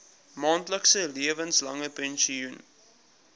maandelikse lewenslange pensioen